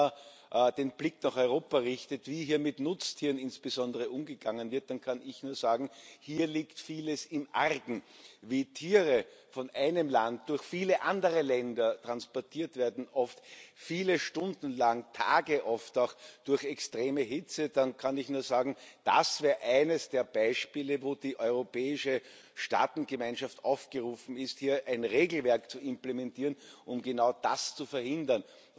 Wenn man den Blick durch Europa richtet, wie hier insbesondere mit Nutztieren umgegangen wird, dann kann ich nur sagen Hier liegt vieles im Argen. Wie Tiere von einem Land durch viele andere Länder transportiert werden, oft viele Stunden, Tage lang, oft auch durch extreme Hitze, da kann ich nur sagen Das wäre eines der Beispiele, wo die europäische Staatengemeinschaft aufgerufen ist, hier ein Regelwerk zu implementieren, um genau das zu verhindern.